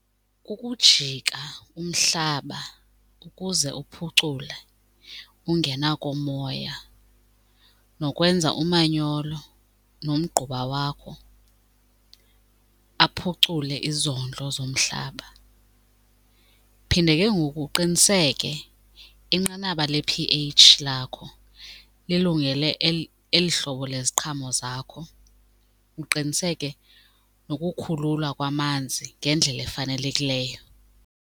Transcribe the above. Kukujika umhlaba ukuze uphucule ungena komoya nokwenza umanyolo nomgquba wakho aphucule izondlo zomhlaba. Phinde ke ngoku uqiniseke inqanaba le-p_H lakho lilungele eli hlobo leziqhamo zakho, uqiniseke nokukhululwa kwamanzi ngendlela efanelekileyo.